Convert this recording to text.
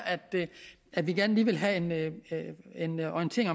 at vi gerne lige vil have en orientering